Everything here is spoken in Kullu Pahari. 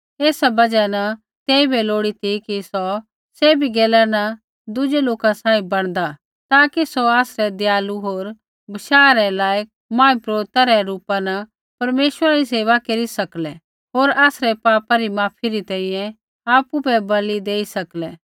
ऐसा बजहा न तेइबै लोड़ी ती कि सौ सैभी गैला न दुज़ै लोका सांही बणदा ताकि सौ आसरै दयालु होर बशाह रै लायक महापुरोहिता रै रूपा न परमेश्वरा री सेवा केरी सकलै होर आसरै पापा री माफ़ी री तैंईंयैं आपु बै बलि देई सकलै